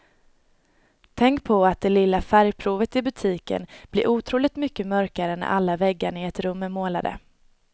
Tänk på att det lilla färgprovet i butiken blir otroligt mycket mörkare när alla väggarna i ett rum är målade.